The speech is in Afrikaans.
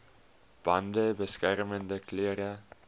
bande beskermende klere